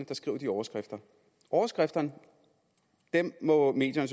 der skriver de overskrifter overskrifterne må medierne